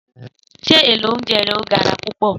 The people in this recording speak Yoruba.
Sé èló ounjé yen o gárá púpõ?